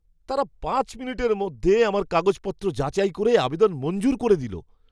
তারা পাঁচ মিনিটের মধ্যে আমার কাগজপত্র যাচাই করে আবেদন মঞ্জুর করে দিলো।